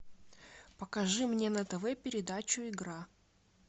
покажи мне на тв передачу игра